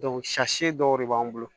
si dɔw de b'an bolo